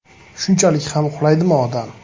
Shunchalik ham uxlaydimi odam?